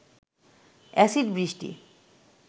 acid বৃষ্টি